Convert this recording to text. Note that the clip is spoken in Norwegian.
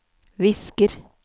visker